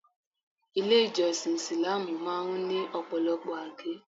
Ilé ìjọsìn Isìláámù máa ń ní Ọ̀pọ̀lọpọ̀ àgé.